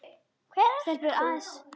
Hver ert þú?